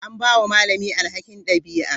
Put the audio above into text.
An ba wa malami alhakin ɗabi'a.